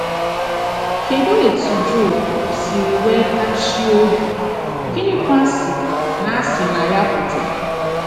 Kedụ etú Job siri nwe tachie obi, gịnịkwa si na si na ya pụta?